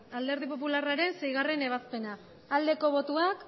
alderdi popularraren seigarrena ebazpena aldeko botoak